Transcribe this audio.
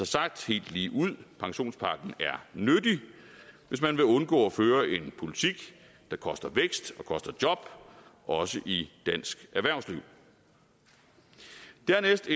sagt helt ligeud pensionspakken er nyttig hvis man vil undgå at føre en politik der koster vækst og koster job også i dansk erhvervsliv dernæst